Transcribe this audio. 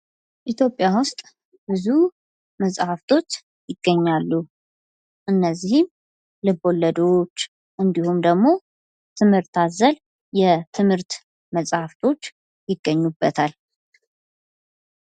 ኢትዮጵያ ውስጥ ብዙ መጽሀፍቶች ይገኛሉ። እናዚህም ልቦለዶች እንዲሁም ደግሞ ትምህርት አዘል የትምህርት መጽሃፍቶች ይገኙበታል።